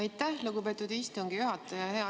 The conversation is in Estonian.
Aitäh, lugupeetud istungi juhataja!